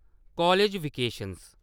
college vacation